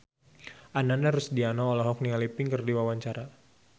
Ananda Rusdiana olohok ningali Pink keur diwawancara